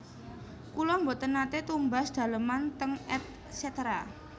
Kula mboten nate tumbas daleman teng Et cetera